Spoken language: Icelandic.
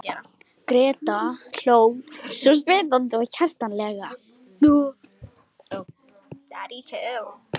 Gréta hló svo smitandi og hjartanlega.